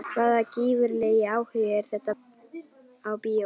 Hvaða gífurlegi áhugi er þetta á bíóferð?